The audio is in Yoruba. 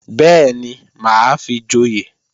Bẹ́ẹ̀ni, mà á fi joyè